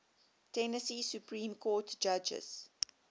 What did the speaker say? tennessee supreme court justices